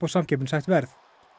samkeppnishæft verð